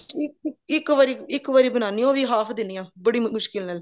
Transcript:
ਇੱਕ ਇੱਕ ਇੱਕ ਵਾਰੀ ਬਣਾਉਣੀ ਆ ਉਹ ਵੀ half ਦਿਨੀ ਹਾਂ ਬੜੀ ਮੁਸ਼ਕਿਲ ਨਾਲ